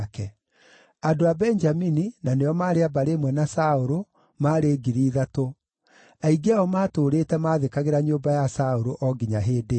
andũ a Benjamini, na nĩo maarĩ a mbarĩ ĩmwe na Saũlũ, maarĩ 3,000; aingĩ ao maatũũrĩte maathĩkagĩra nyũmba ya Saũlũ, o nginya hĩndĩ ĩyo;